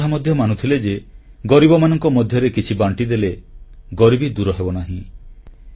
ସେ ଏକଥା ମଧ୍ୟ ମାନୁଥିଲେ ଯେ ଗରିବମାନଙ୍କ ମଧ୍ୟରେ କିଛି ବାଣ୍ଟିଦେଲେ ଗରିବୀ ଦୂର ହେବନାହିଁ